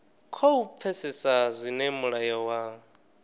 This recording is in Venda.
khou pfesesa zwine mulayo wa